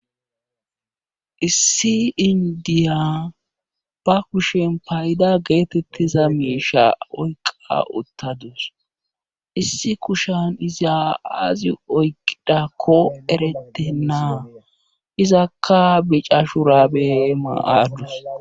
issi indiya ba kushen payda geetettiza miisha oyqa uttadus issi kushan iza azi oyqidakko eretennaa izakka bicashu raabe maaadus